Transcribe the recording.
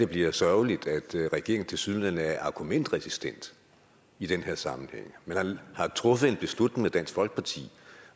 bliver sørgeligt at regeringen tilsyneladende er argumentresistent i den her sammenhæng man har truffet en beslutning med dansk folkeparti og